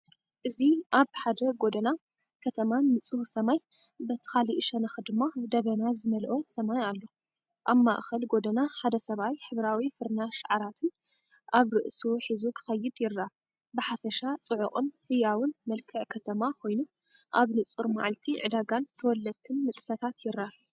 እዚ ኣብ ሓደ ጎደና ከተማ፡ንጹህ ሰማይ፡በቲ ካልእ ሸነኽ ድማ ደበና ዝመልኦ ሰማይኣሎ። ኣብ ማእከል ጎደና ሓደ ሰብኣይ ሕብራዊ ፍርናሽ ዓራትን ኣብ ርእሱ ሒዙ ክኸይድ ይረአ። ብሓፈሻ ጽዑቕን ህያውን መልክዕ ከተማ ኮይኑ፡ኣብ ንጹር መዓልቲ ዕዳጋን ተወለድትን ንጥፈታት ይረአ።